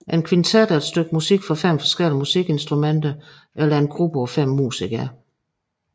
En kvintet er et stykke musik for fem forskellige musikinstrumenter eller en gruppe på fem musikere